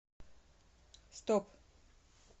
стоп